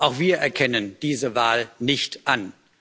Auch wir erkennen diese Wahl nicht an.